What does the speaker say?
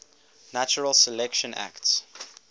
natural selection acts